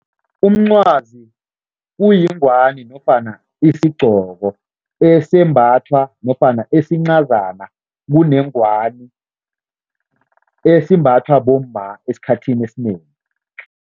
Umncwazi kuyingwani nofana isigqoko esembathwa nofana esincazana kunengwani, esimbathwa bomma esikhathini esinengi.